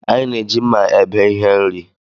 Anyị na-eji mma ebe ihe nri